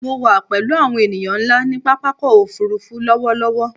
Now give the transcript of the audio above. Mo wà pẹ̀lú àwọn ènìyàn ńlá ní pápákọ̀-òfurufú lọ́wọ́lọ́wọ́.